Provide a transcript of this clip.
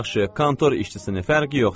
Yaxşı, kontor işçisi nə fərqi yoxdur.